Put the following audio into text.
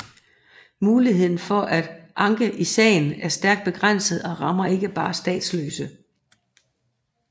Muligheden for at få anke i sagen er stærkt begrænset og rammer ikke bare statsløse